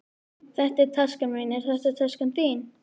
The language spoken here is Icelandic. Þetta er taskan mín. Er þetta taskan þín?